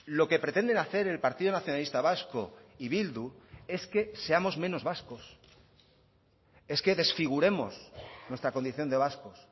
lo que pretenden hacer el partido nacionalista vasco y bildu es que seamos menos vascos es que desfiguremos nuestra condición de vascos